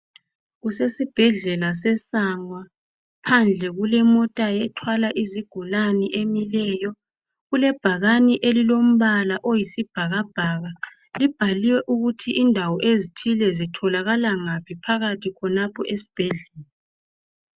kusesibhedlela se Sangwa phandle kulemota ethwala izigulane emileyo kulebhakane elilombala oyisibhakabhaka libhaliwe ukuthi indawo ezithile zitholakala ngaphi phakathi khonapha esibhedlela